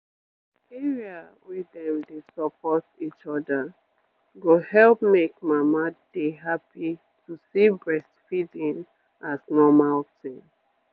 wait area wey dem dey support each other go help make mama dey happy to see breastfeeding as normal tin